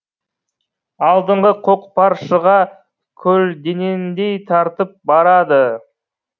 алдыңғы көкпаршыға көлденеңдей тартып барады